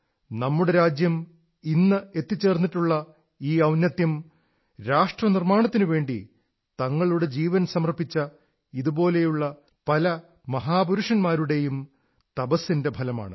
നമ്മുടെ രാജ്യം ഇന്ന് എത്തിച്ചേർന്നിട്ടുള്ള ഈ ഔന്നത്യം രാഷ്ട്രനിർമ്മാണത്തിനുവേണ്ടി തങ്ങളുടെ ജീവൻ സമർപ്പിച്ച ഇതുപോലെയുള്ള പല മഹാപുരുന്മാരുടെയും തപസ്സിന്റെ ഫലമാണ്